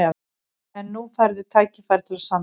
En núna færðu tækifæri til að sanna þig.